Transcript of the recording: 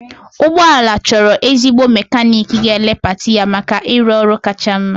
Ụgbọ ala chọrọ ezigbo mekaniiki ga-elee pati ya maka ịrụ ọrụ kacha mma.